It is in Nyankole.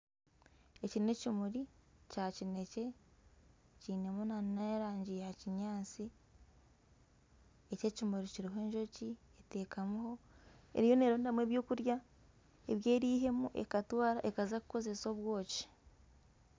Eki n'ekimuri kya kinekye kinemu n'erangi ya kinyaatsi. Eki ekimuri kiriho enjoki eriyo nerondamu ebyokurya ebi erihemu ekatwara ekaza kukozesa obwoki.